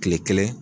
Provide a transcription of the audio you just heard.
Kile kelen